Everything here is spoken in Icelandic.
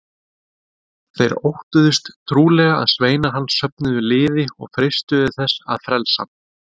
Þeir óttuðust trúlega að sveinar hans söfnuðu liði og freistuðu þess að frelsa hann.